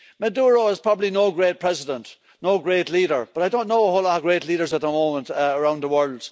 Maduro is probably no great president, no great leader, but I don't know a whole lot of great leaders at the moment around the world.